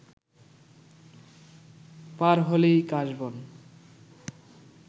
পার হলেই এ কাশবন